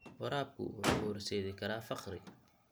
Waraabku wuxuu u horseedi karaa faqri.